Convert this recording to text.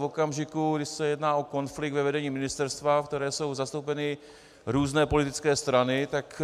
V okamžiku, kdy se jedná o konflikt ve vedení ministerstva, v kterém jsou zastoupeny různé politické strany, tak